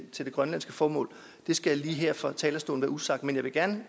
til det grønlandske formål skal jeg her fra talerstolen usagt men jeg vil gerne